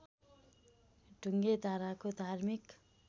ढुङ्गे धाराको धार्मिक